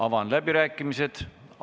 Avan läbirääkimised.